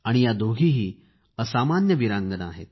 या दोघीही असामान्य वीरांगना आहेत